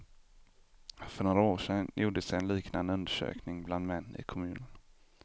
För några år sedan gjordes en liknande undersökning bland män i kommunen.